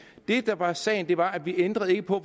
det der var sagen var at vi ikke ændrede på